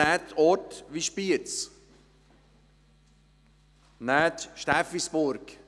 Nehmen Sie Orte wie Spiez oder Steffisburg.